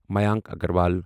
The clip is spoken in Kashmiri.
میانک اگروال